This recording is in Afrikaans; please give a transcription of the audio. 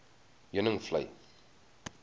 heuningvlei